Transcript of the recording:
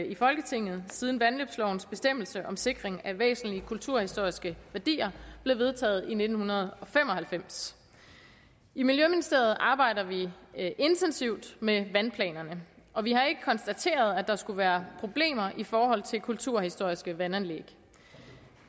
i folketinget siden vandløbslovens bestemmelse om sikring af væsentlige kulturhistoriske værdier blev vedtaget i nitten fem og halvfems i miljøministeriet arbejder vi intensivt med vandplanerne og vi har ikke konstateret at der skulle være problemer i forhold til kulturhistoriske vandanlæg